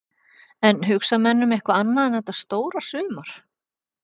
En hugsa menn um eitthvað annað en þetta stóra sumar?